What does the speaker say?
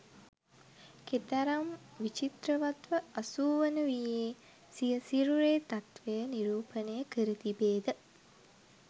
කෙතරම් විචිත්‍රවත්ව අසූවන වියේ සිය සිරුරේ තත්ත්වය නිරූපණය කර තිබේද?